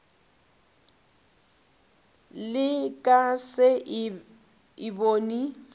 le ka se e bone